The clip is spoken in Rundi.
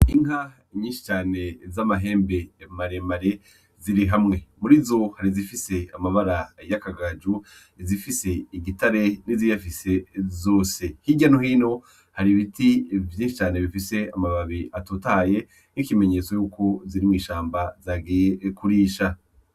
Inka nyinshi cane z'amahembe maremare zirihamwe. Murizo hari izifise amabara y'akagaju, izifise igitare hamwe niziyafise zose hirya no hino hari ibiti vyinshi cane bifise amababi atotahaye nk'ikimenyetso yuko ziri mw'ishamba zagiye kurisha .